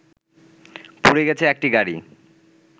পুড়ে গেছে একটি গাড়ি